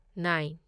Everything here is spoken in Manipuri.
ꯅꯥꯢꯟ